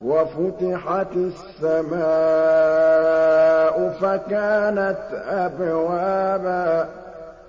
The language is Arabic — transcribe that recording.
وَفُتِحَتِ السَّمَاءُ فَكَانَتْ أَبْوَابًا